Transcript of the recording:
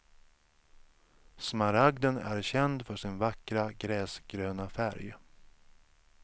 Smaragden är känd för sin vackra gräsgröna färg.